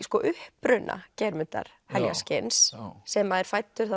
uppruna Geirmundar heljarskinns sem er fæddur